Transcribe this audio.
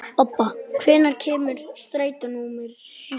Obba, hvenær kemur strætó númer sjö?